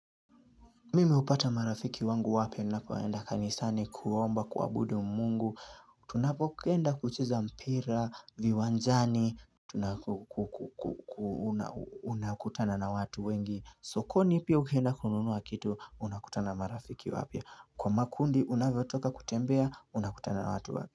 Mimi hupata marafiki wangu wapya ninapoenda kanisani kuomba kuabudu mungu Tunapoenda kucheza mpira, viwanjani tunakutana na watu wengi sokoni pii ukienda kununua kitu, unakutana marafiki wapya Kwa makundi unavyotoka kutembea, unakutana na watu wapya.